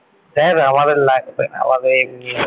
ধ্যাৎ আমাদের লাগবে না আমাদের এমনি ।